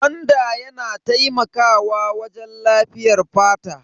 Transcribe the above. Gwanda yana taimakawa wajen lafiyar fata.